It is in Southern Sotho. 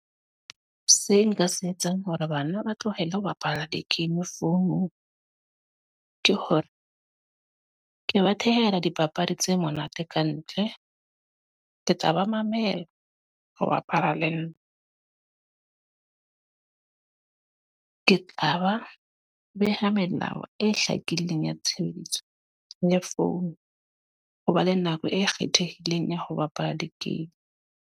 Se nka se etsang hore bana ba tlohele ho bapala di-game founung. Ke hore, ke ba thehela dipapadi tse monate kantle. Ke tla ba mamela ho bapala le nna. Ke tla ba beha melao e hlakileng ya tshebeletso ya founu. Ho ba le nako e kgethehileng ya ho bapala di-game.